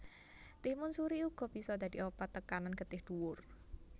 Timun suri uga bisa dadi obat tekanan getih dhuwur